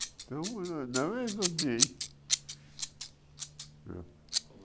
Estamos na no mesmo